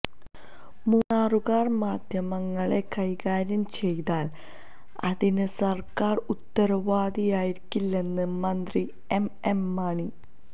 മൂന്നാറുകാര് മാദ്ധ്യമങ്ങളെ കൈകാര്യം ചെയ്താല് അതിന് സര്ക്കാര് ഉത്തരവാദിയായിരിക്കില്ലെന്ന് മന്ത്രി എംഎം മണി